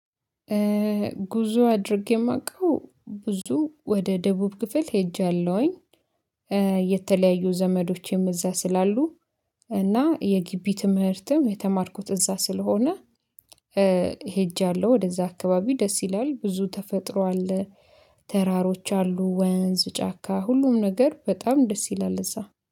ጉዞ አድርጌ ማቀው ብዙ ወደ ደቡብ ክፍል ሄጃለውኝ። የተለያዩ ዘመዶቼም እዛ ስላሉ እና የጊቢ ትምህርትም የተማርኩት እዛ ስለሆነ ሄጃለው ወደዛ አካባቢ ደስ ይላል። ብዙ ተፈጥሮ አለ። ተራሮች አሉ ወንዝ ጫካ ሁሉም ነገር በጣም ደስ ይላል እዛ